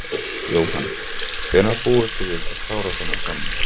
Jóhann: Hvenær búist þið við að klára þennan samning?